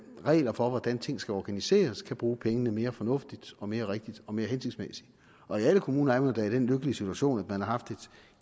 regler for hvordan ting skal organiseres kan bruge pengene mere fornuftigt og mere rigtigt og mere hensigtsmæssigt og i alle kommuner er man da i den lykkelige situation at man har haft et